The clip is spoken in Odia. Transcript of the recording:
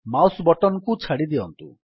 ମାଉସ୍ ବଟନ୍ କୁ ଛାଡ଼ି ଦିଅନ୍ତୁ